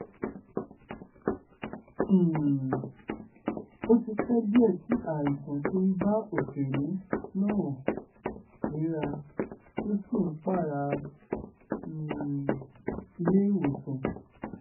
um ó ti ṣe díẹ̀ tí àìsàn ti ń bá òṣèré náà fínra tó sì ń pààrà um iléèwọ̀sàn